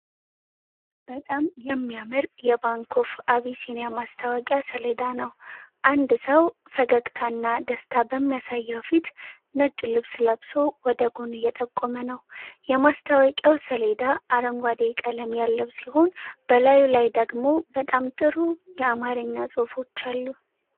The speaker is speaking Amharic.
በጣም የሚያምር የባንክ ኦፍ አቢሲኒያ ማስታወቂያ ሰሌዳ ነው። አንድ ሰው ፈገግታና ደስታ በሚያሳየው ፊት፣ ነጭ ልብስ ለብሶ፣ ወደ ጎን እየጠቆመ ነው። የማስታወቂያው ሰሌዳ አረንጓዴ ቀለም ያለው ሲሆን፣ በላዩ ላይ ደግሞ በጣም ጥሩ የአማርኛ ጽሑፎች አሉ።